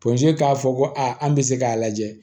k'a fɔ ko a an bɛ se k'a lajɛ